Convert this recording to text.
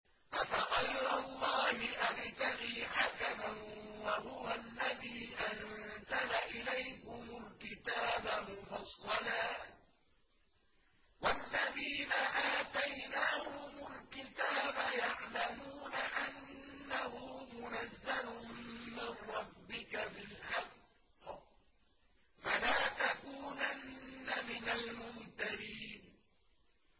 أَفَغَيْرَ اللَّهِ أَبْتَغِي حَكَمًا وَهُوَ الَّذِي أَنزَلَ إِلَيْكُمُ الْكِتَابَ مُفَصَّلًا ۚ وَالَّذِينَ آتَيْنَاهُمُ الْكِتَابَ يَعْلَمُونَ أَنَّهُ مُنَزَّلٌ مِّن رَّبِّكَ بِالْحَقِّ ۖ فَلَا تَكُونَنَّ مِنَ الْمُمْتَرِينَ